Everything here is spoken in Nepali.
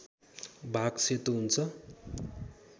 भाग सेतो हुन्छ